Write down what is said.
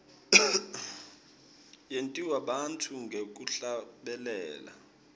yentiwa bantfu ngekuhlabelela